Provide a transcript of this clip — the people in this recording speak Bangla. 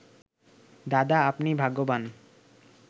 'দাদা, আপনি ভাগ্যবান